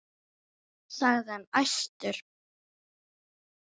sagði hann æstur.